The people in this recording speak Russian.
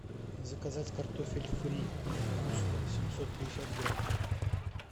заказать картофель фри густо семьсот пятьдесят грамм